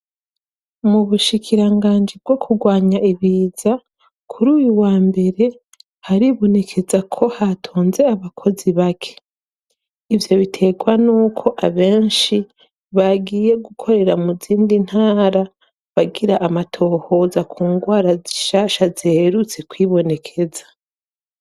Mu bushikiranganji bwo kurwanya ibiza kuri uyu wa mbere haribonekeza ko hatonze abakozi bake ivyo bitegwa n'uko abenshi bagiye gukorera mu zindi ntara bagira amatohoza ku ngwara zishasha ziherutse kwibonekeza.